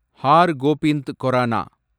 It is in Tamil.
hour Gobind corona